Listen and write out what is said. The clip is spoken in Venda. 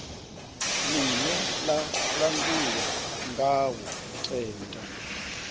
ḽine ḽa langulwa ngawo tenda